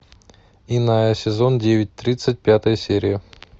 иная сезон девять тридцать пятая серия